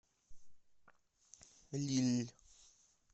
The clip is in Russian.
лилль